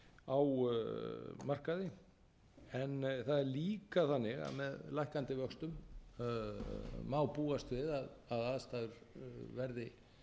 á markaði en það er líka þannig að með lækkandi vöxtum má búast við að aðstæður verði